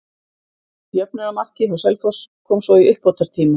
Jöfnunarmarkið hjá Selfoss kom svo í uppbótartíma.